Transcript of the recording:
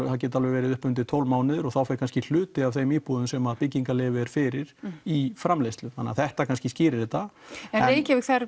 verið upp undir tólf mánuðir og þá fer kannski hluti af þeim íbúðum þar sem byggingarleyfi er fyrir í framleiðslu þannig þetta kannski skýrir þetta en